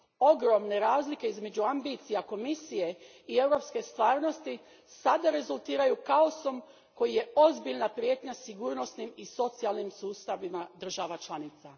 Ogromne razlike između amibicija Komisije i europske stvarnosti sada rezultiraju kaosom koji je ozbiljna prijetnja sigurnosnim i socijalnim sustavima država članica.